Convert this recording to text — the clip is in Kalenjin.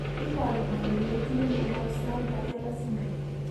Iporu ne kole itinye miondap Small patella syndrome?